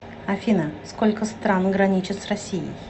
афина сколько стран граничит с россией